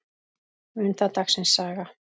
Mun það dagsins saga.